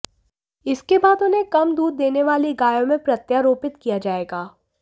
इसके बाद उन्हें कम दूध देने वाली गायों में प्रत्यारोपित किया जाएगा